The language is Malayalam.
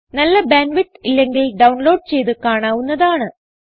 നല്ല ബാൻഡ് വിഡ്ത്ത് ഇല്ലെങ്കിൽ ഡൌൺലോഡ് ചെയ്ത് കാണാവുന്നതാണ്